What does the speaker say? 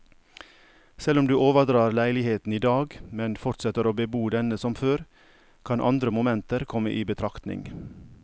Selv om du overdrar leiligheten i dag, men fortsetter å bebo denne som før, kan andre momenter komme i betraktning.